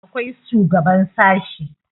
akwai shugaban sashe